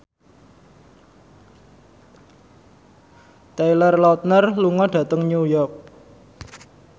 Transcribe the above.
Taylor Lautner lunga dhateng New York